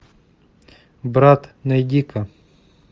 брат найди ка